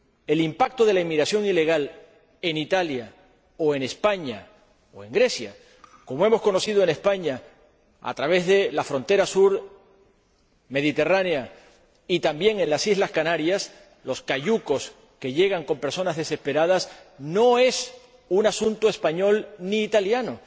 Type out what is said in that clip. El impacto de la inmigración ilegal en Italia, o en España, o en Grecia —como hemos conocido en España, a través de la frontera sur mediterránea, y también en las Islas Canarias, con los cayucos que llegan con personas desesperadas—, no es un asunto español ni italiano.